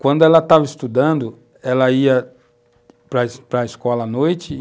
Quando ela estava estudando, ela ia para para a escola à noite.